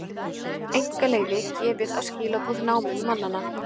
Einkaleyfi gefið á skilaboð námumannanna